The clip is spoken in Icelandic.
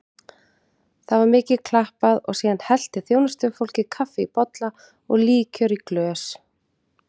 Það var mikið klappað og síðan hellti þjónustufólkið kaffi í bolla og líkjör í glös.